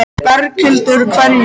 Berghildur: Hverju?